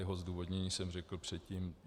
Jeho zdůvodnění jsem řekl předtím.